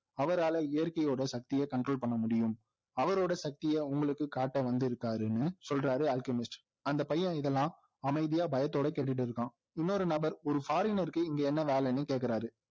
அவரால இயற்கையோட சக்தியை control பண்ண முடியும் அவரோட சக்தியை உங்களுக்கு காட்ட வந்திருக்கிறாருன்னு சொல்றாரு அல்க்மிஸ்ட் அந்த பையன் இதெல்லாம் அமைதியா பயத்தோட கேட்டுட்டு இருக்கான் இன்னொரு நபர் ஒரு foreigner க்கு இங்க என்ன வேலைன்னு கேக்கிறார்